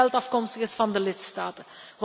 U weet dat het geld afkomstig is van de lidstaten.